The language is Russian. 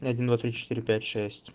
и один два три четыре пять шесть